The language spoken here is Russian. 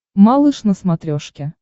малыш на смотрешке